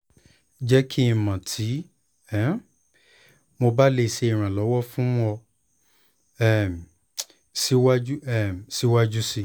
jẹ ki n mọ ti um mo ba le ṣe iranlọwọ fun ọ um siwaju um siwaju sii